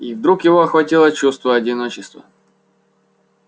и вдруг его охватило чувство одиночества